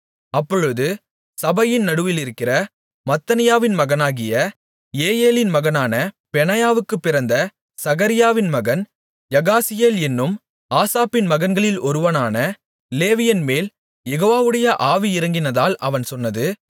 அப்பொழுது சபையின் நடுவிலிருக்கிற மத்தனியாவின் மகனாகிய ஏயெலின் மகனான பெனாயாவுக்குப் பிறந்த சகரியாவின் மகன் யகாசியேல் என்னும் ஆசாப்பின் மகன்களில் ஒருவனான லேவியன்மேல் யெகோவாவுடைய ஆவி இறங்கினதால் அவன் சொன்னது